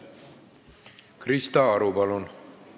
Krista Aru, palun!